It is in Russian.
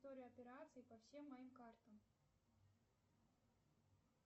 история операций по всем моим картам